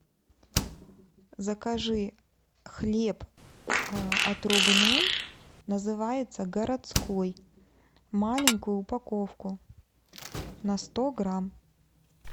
закажи хлеб отрубной называется городской маленькую упаковку на сто грамм